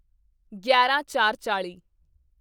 ਗਿਆਰਾਂਚਾਰਚਾਲ੍ਹੀ